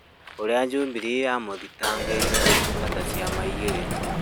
ũrĩa Jubilee yamũthitangĩire gũtungata ciama igĩrĩ.